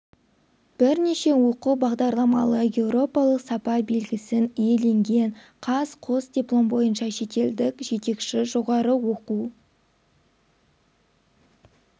бірнеше оқу бағдарламалары еуропалық сапа белгісін иеленген қаз қос диплом бойынша шетелдік жетекші жоғары оқу